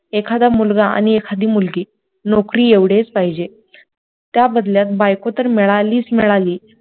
एखादा मुलगा आणि एखादी मुलगी नोकरी एवढेच पाहिजे त्या बदल्यात बायको तर मिळावीत मिळावी